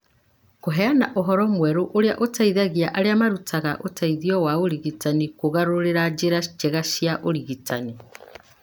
Kũheana ũhoro mwerũ ũrĩa ũteithagia arĩa marutaga ũteithio wa ũrigitani kũgarũrĩra njĩra njega cia ũrigitani.